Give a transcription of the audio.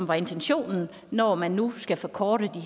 var intentionen når man nu skal forkorte